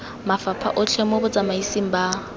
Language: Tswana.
mafapha otlhe mo botsamaising ba